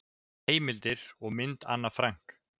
Heimildir og mynd Anne Frank.